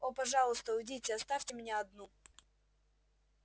о пожалуйста уйдите оставьте меня одну